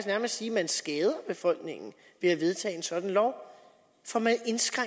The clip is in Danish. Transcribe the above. nærmest sige at man skader befolkningen ved at vedtage en sådan lov for man